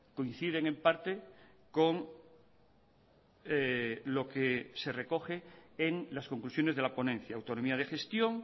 coinciden en parte con lo que se recoge en las conclusiones de la ponencia autonomía de gestión